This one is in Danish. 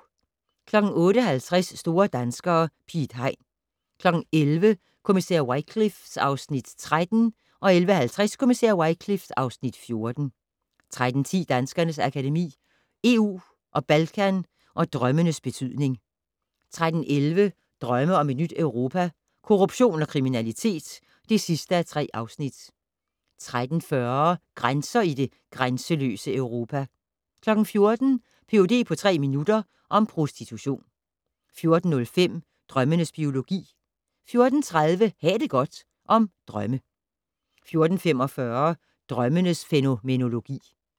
08:50: Store danskere - Piet Hein 11:00: Kommissær Wycliffe (Afs. 13) 11:50: Kommissær Wycliffe (Afs. 14) 13:10: Danskernes Akademi: EU og Balkan & Drømmenes betydning 13:11: Drømme om et nyt Europa - Korruption og kriminalitet (3:3) 13:40: Grænser i det grænseløse Europa 14:00: Ph.d. på tre minutter - om prostitution 14:05: Drømmenes biologi 14:30: Ha' det godt - om drømme 14:45: Drømmens fænomenologi